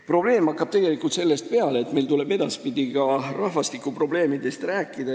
Probleem hakkab tegelikult sellest peale, et meil tuleb ka edaspidi rahvastikuprobleemidest rääkida.